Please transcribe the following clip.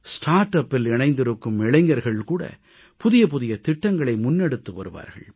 Startupஇல் இணைந்திருக்கும் இளைஞர்கள் கூட புதிய புதிய திட்டங்களை முன்னெடுத்து வருவார்கள்